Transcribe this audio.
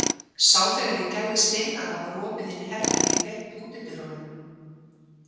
Sá þegar ég gægðist inn að það var opið inn í herbergi gegnt útidyrunum.